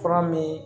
Fura min